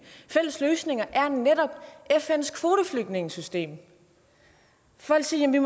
fælles løsning er netop fns kvoteflygtningesystem folk siger at vi